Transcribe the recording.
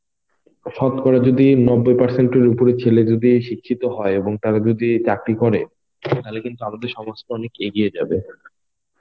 শতকরা যদি নব্বই পার্সেন্ট এর উপরে ছেলে যদি এই শিক্ষিত হয় এবং তারা যদি চাকরি করে তাহলে কিন্তু আমাদের সমাজ অনেক এগিয়ে যাবে.